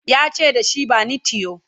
yace dashi "bani tiyo!"